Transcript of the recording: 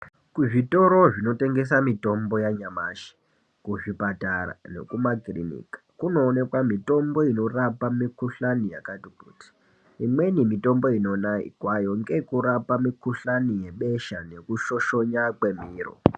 Kuzvitoro zvino tengesa mitombo ya nyamashi kuzvipatara nekuma kiriniki kunoonekwa mitombo ino rapa mikuhlani yakati kuti imweni mitombo inonekwayo ngeyekurapa mikushani yebesha neku shoshona kwemiro.